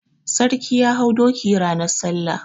Sarki ya hau doki ranan salla.